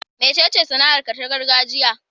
Mecece sana'arka ta gargajiya?